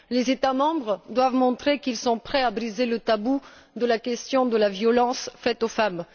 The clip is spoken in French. Les États membres doivent montrer qu'ils sont prêts à briser le tabou de la question de la violence faite aux femmes.